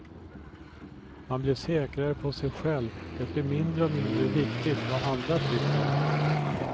Man blir säkrare på sig själv, det blir mindre och mindre viktigt vad andra tycker.